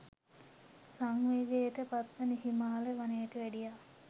සංවේගයට පත්ව හිමාල වනයට වැඩියා.